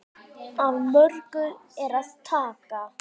Af mörgu er að taka.